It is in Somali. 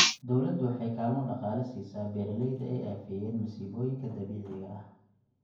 Dawladdu waxay kaalmo dhaqaale siisaa beeralayda ay aafeeyeen masiibooyinka dabiiciga ah.